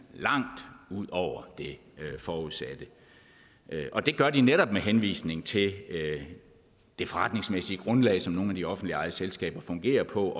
langt ud over det forudsatte det gør de netop med henvisning til det forretningsmæssige grundlag som nogle af de offentligt ejede selskaber fungerer på